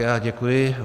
Já děkuji.